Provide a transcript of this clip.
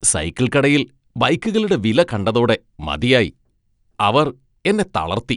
Cycle കടയിൽ ബൈക്കുകളുടെ വില കണ്ടതോടെ മതിയായി. അവർ എന്നെ തളർത്തി.